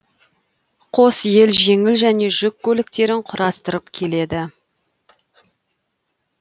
қос ел жеңіл және жүк көліктерін құрастырып келеді